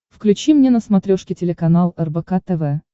включи мне на смотрешке телеканал рбк тв